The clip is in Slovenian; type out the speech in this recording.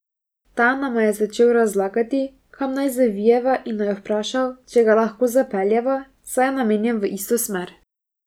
Ta nama je začel razlagati, kam naj zavijeva in naju vprašal, če ga lahko zapeljeva, saj je namenjen v isto smer.